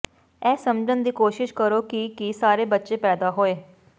ਇਹ ਸਮਝਣ ਦੀ ਕੋਸ਼ਸ਼ ਕਰੋ ਕਿ ਕੀ ਸਾਰੇ ਬੱਚੇ ਪੈਦਾ ਹੋਏ